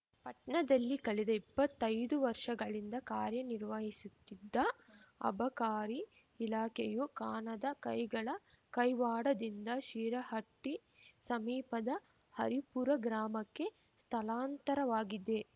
ಪಟ್ಣದಲ್ಲಿ ಕಳೆದ ಇಪ್ಪತ್ತೈದು ವರ್ಷಗಳಿಂದ ಕಾರ್ಯನಿರ್ವಹಿಸುತ್ತಿದ್ದ ಅಬಕಾರಿ ಇಲಾಖೆಯು ಕಾಣದ ಕೈಗಳ ಕೈವಾಡದಿಂದ ಶಿರಹಟ್ಟಿ ಸಮೀಪದ ಹರಿಪುರ ಗ್ರಾಮಕ್ಕೆ ಸ್ಥಳಾಂತರವಾಗಿದೆ